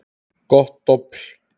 Gott dobl.